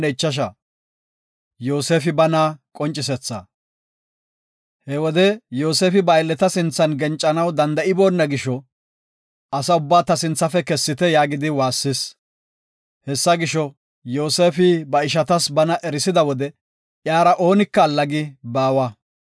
He wode Yoosefi ba aylleta sinthan gencanaw danda7iboona gisho, “Asa ubbaa ta sinthafe kessite” yaagidi waassis. Hessa gisho, Yoosefi ba ishatas bana erisida wode iyara oonika allagi baawa.